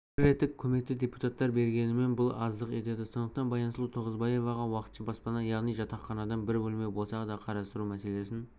бір реттік көмекті депутаттар бергенімен бұл аздық етеді сондықтан баянсұлу тоғызбаеваға уақытша баспана яғни жатақханадан бір бөлме болса да қарастыру мәселесін